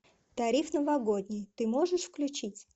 тариф новогодний ты можешь включить